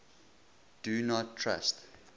do not trust